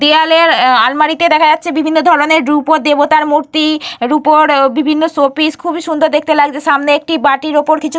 দেওয়ালের আলমারিতে দেখা যাচ্ছে বিভিন্ন ধরণের রুপোর দেবতার মূর্তি রুপোর বিভিন্ন শোপিস । খুবই সুন্দর দেখতে লাগছে। সামনে একটি বাটির ওপর কিছু--